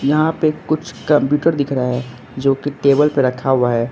यहां पे कुछ कंप्यूटर दिख रहा है जो की टेबल पे रखा हुआ है।